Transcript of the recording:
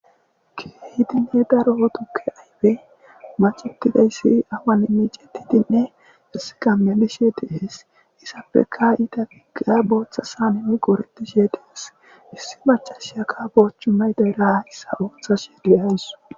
Keehi daro tukke aybe miccettida issi awani miccetidenne qassika melishe dees. Issappekka endatika botha saneni qoretishe dees. Issi maccasiyaka bo cimay daro sawetishe de'asu.